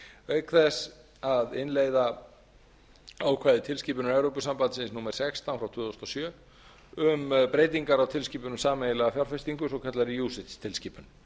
auk þess að innleiða ákvæði tilskipunar evrópusambandsins númer sextán frá tvö þúsund og sjö um breytingar á tilskipun um sameiginlega fjárfestingu svokallaðri ucits tilskipun